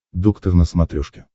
доктор на смотрешке